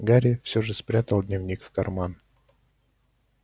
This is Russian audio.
гарри всё же спрятал дневник в карман